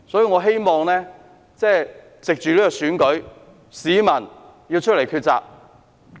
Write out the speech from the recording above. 我希望藉着這次選舉，市民會走出來抉擇。